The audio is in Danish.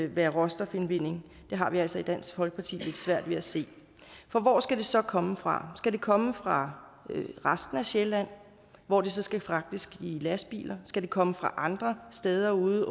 være råstofindvinding har vi altså i dansk folkeparti lidt svært ved at se for hvor skal det så komme fra skal det komme fra resten af sjælland hvor det så skal fragtes i lastbiler skal det komme fra andre steder ude